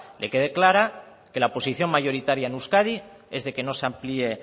que quede clara que la posición mayoritaria en euskadi es de que no se amplíe